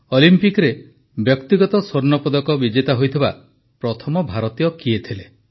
ଅଲିମ୍ପିକରେ ବ୍ୟକ୍ତିଗତ ସ୍ୱର୍ଣ୍ଣପଦକ ବିଜେତା ହୋଇଥିବା ପ୍ରଥମ ଭାରତୀୟ କିଏ ଥିଲେ